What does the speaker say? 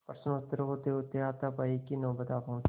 प्रश्नोत्तर होतेहोते हाथापाई की नौबत आ पहुँची